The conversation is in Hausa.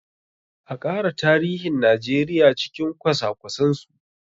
A ƙara tarihin Najeriya cikin kwasa kwasen su!